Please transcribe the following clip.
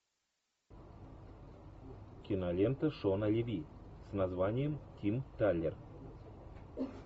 кинолента шона леви с названием тим талер